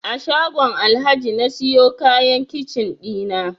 A shagon Alhaji na siyo kayan kicin ɗina